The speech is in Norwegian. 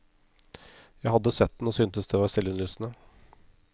Jeg hadde sett den, og syntes det var selvinnlysende.